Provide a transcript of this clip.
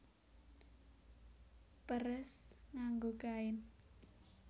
Peres nganggo kain